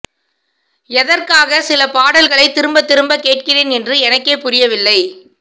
எதற்காக சில பாடல்களை திரும்ப திரும்ப கேட்கிறேன் என்று எனக்கே புரியவில்லை